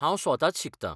हांव स्वताच शिकतां.